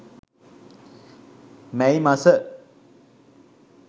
මැයි මස